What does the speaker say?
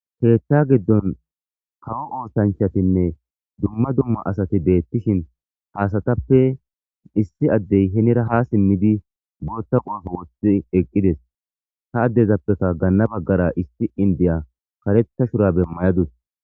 heeththa giddon kawo ootanchatinne dumma dumma asati deettishin haasatappe issi addey henira ha simmidi bootta qoefo woththi eqqides ta addezappekka ganna baggara isti indiya kareta shura bemmayadus